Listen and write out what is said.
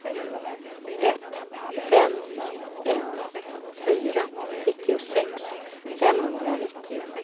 ett fem ett fyra nittiosex femhundranittio